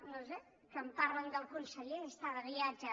no ho sé quan parlen de el conseller està de viatge